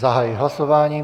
Zahajuji hlasování.